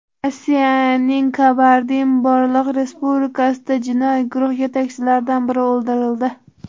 Rossiyaning Kabardin-Bolqor respublikasida jinoiy guruh yetakchilaridan biri o‘ldirildi.